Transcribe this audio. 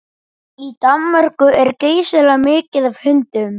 Í Danmörku er geysilega mikið af hundum.